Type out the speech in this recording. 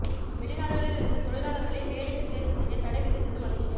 வெளிநாடுகளில் இருந்து தொழிலாளர்களை வேலைக்கு தேர்வு செய்ய தடை விதித்தது மலேசியா